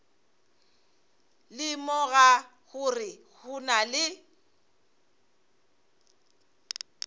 lemoga gore go na le